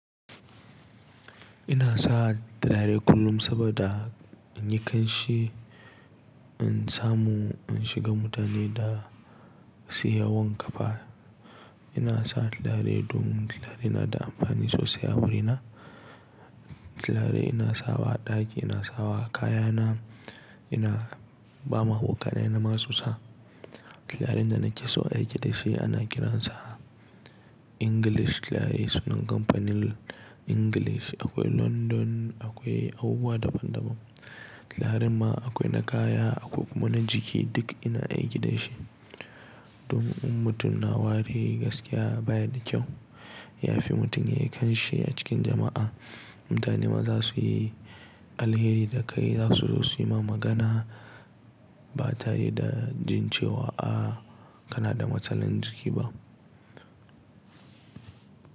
Ina sa tarare kullum saboda in yi kanshi, in samu in shiga mutane da su yi wanka fa. Ina sa talare domin tallaye na da amfani sosai a wurina. Tallare ina sawa ɗaki, ina sawa kayana, ina ba ma abokaina na ma su sa. Tallaren da nake so a yi kidashi ana kiransa English tallaye, sunan kamfanin English. Akwai London, akwai abubuwa daban daban. Tallaren ma akwai na kaya, akwai kuma na jiki, duk ina aiki dashi. Domin mutum na wari gaskiya baya da kyau, ya fi mutum yayi kanshi a cikin jama'a. Mutane ma za su yi alheri da kai, za su so su yi ma magana ba tare da jin cewa a kana da matsalan jiki ba.